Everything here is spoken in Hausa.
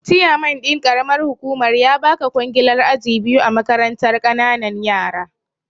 Chiyaman ɗin karamar hukumar ya baka ƙwangilar aji biyu a makarantar kananan yara